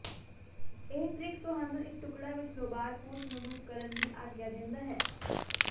ਇਹ ਟ੍ਰਿਕ ਤੁਹਾਨੂੰ ਇੱਕ ਟੁਕੜਾ ਵਿੱਚ ਲੋਬਾਰ ਪੂਛ ਨੂੰ ਮੁਕਤ ਕਰਨ ਦੀ ਆਗਿਆ ਦਿੰਦਾ ਹੈ